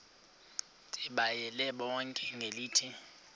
ndibayale bonke ngelithi